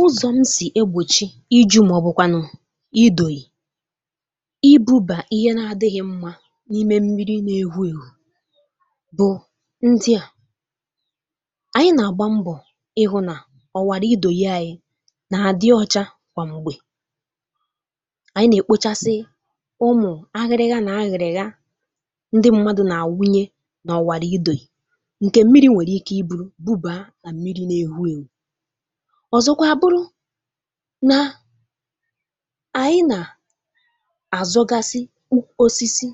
Ụzọ̀ m sì egbòchi ìjụ̇ màọ̀bụ̀kwànụ̀ idòyì ibùbà ihe na-adị̇ghị̇ mmà n’ime mmiri na-èhù èhù bụ̀ ndị à, anyị̇ nà-àgba mbọ̀ ịhụ̇ nà ọ̀wàrà idòyì anyị̇ nà-àdị ọcha kwa mgbè, anyị̇ nà-èkpochasị ụmụ̀ àghịrị̇ghị a nà-ahịrị̇ghị a ndị mmadụ̇ nà-àwunye nà ọ̀wàrà idòyì, ǹkè mmiri̇ nwèrè ike ibùrù̇ bubà nà mmiri na-èhù èhù, ọzọkwa àbụrụ nà anyị̇ nà-àzugasị osisi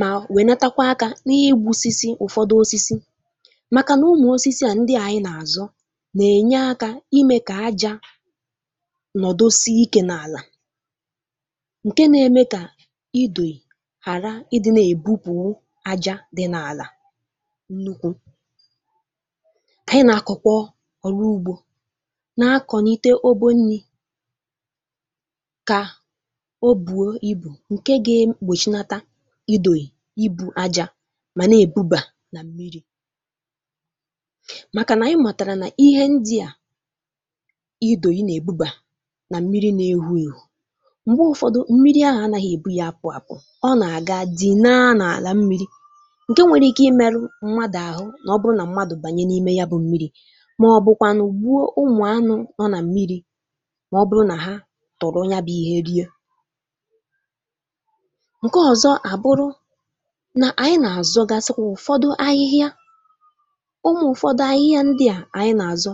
ma wènatakwa aka n’ígbusísí ụ̀fọdụ̀ osisi, màkà nà ụmụ̀ osisi à ndị anyị̇ nà-àzụ nà-ènye akà ime kà aja nọ̀dosi ikè n’àlà ǹkè nà-èmè kà idòyì hàra ịdị̇ nà-èbupùrù aja dị̇ n’àlà ńukwu ka anyị̇ na-akọ̀ọ kwa ọrụ ugbo na-akọ̀ n’ite ọbò nni̇ kà ọ̀bùo ibù ǹke gà-èkpòchi nata idòyì ibù ajà mà na-èbubà nà mmiri̇ màkà nà anyị̇ matàrà nà ihe ndị à idòyì nà-èbubà nà mmiri nà-ewù ewù, m̀gbe ụfọdụ̀ mmiri ahụ̀ anaghị̀ èbù yá apụ̀ apụ̀, ọ nà-àga dì nà-àlà mmiri̇, ǹkè nwere ike imerù̇ mmádù àhụ̇ nà ọ bụrụ nà mmádù bànye n’ime ya bụ̇ mmiri̇, màọ̀bụ̀kwanụ̀ gbuo ụmụ̀ anụ̇ nọ nà mmiri, mà ọ bụrụ nà ha tọ̀rọ ya bụ̇ ihe rie ǹkè ọ̀zọ̀ àbụrụ nà, anyị̇ nà-àzụ gàsịkwa ụ̀fọdụ̀ ahịhịa, ụmụ̀ ụ̀fọdụ̀ ahịhịa ndị à anyị̇ nà-azọ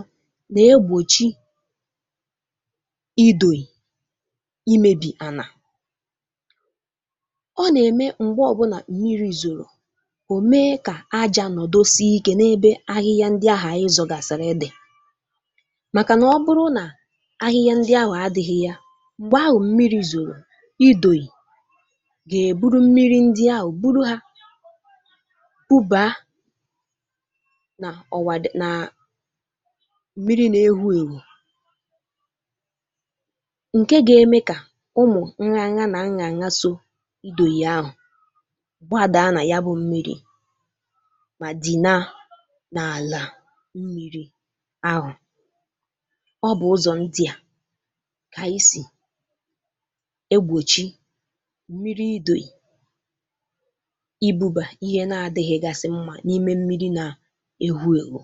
nà egbòchi idòyì imebì ànà, ọ nà-èmè m̀gbe ọbụla mmiri̇ zòrò, ó mee kà aja nọ̀dosi ike n’ebe ahịhịa ndị ahà anyị̇ zọgasịrị dị, màkànà ọ bụrụ nà ahịhịa ndị ahụ̀ adị̇ghị̇ yá, m̀gbè ahụ̀ mmiri̇ zòrò, idòyì gà-èburu mmiri ndị ahụ̀ bùrù hā bubà nà ọ̀ wàdị (ụ̀m) nà mmiri nà-ewù ewù ǹkè gà-èmè kà ụmụ̀ nganya nà-anya ànya sọọ idòyì ahụ̀ gbadàa nà ya bụ̇ mmiri̇, mà dị̀ nà-àlà mmiri ahụ̀, ọ̀ bụ̀ ụzọ̀ ndị kà anyị̇ sì egbòchi mmiri idòghì ibùbà ihe na-adì̇ghị̇gasị mmà n’ime mmiri na-ewùèwù.